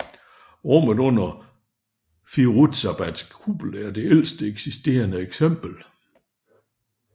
Rummet under Firouzabads kuppel er det ældste eksisterende eksempel